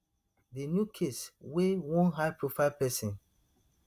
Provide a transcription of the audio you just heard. di new case wey one highprofile pesin